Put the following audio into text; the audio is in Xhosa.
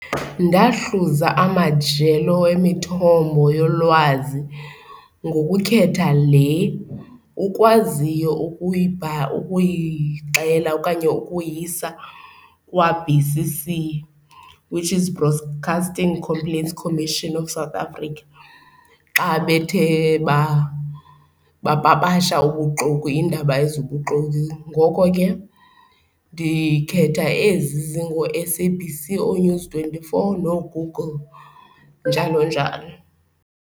Ndahluza amajelo emithombo yolwazi ngokukhetha le ukwaziyo ukuyixhela okanye ukuyisa kwa-B_C_C which is Broast Casting Complaints Commision of South Africa, xa bethe bapapasha ubuxoki, iindaba ezibuxoki. Ngoko ke ndikhetha ezi zingoo-S-A_B_C, ooNews twenty-four nooGoogle, njalo njalo.